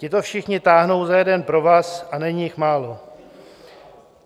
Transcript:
Tito všichni táhnou za jeden provaz, a není jich málo.